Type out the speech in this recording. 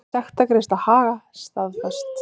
Sektargreiðsla Haga staðfest